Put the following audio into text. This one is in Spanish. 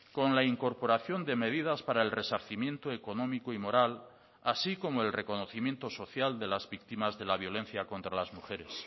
con la incorporación de medidas para el resarcimiento económico y moral así como el reconocimiento social de las víctimas de la violencia contra las mujeres